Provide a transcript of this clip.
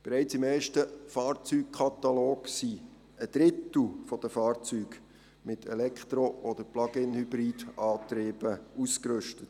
Bereits im ersten Fahrzeugkatalog sind ein Drittel der Fahrzeuge mit Elektro- oder Plug-in-Hybrid-Antrieben ausgerüstet.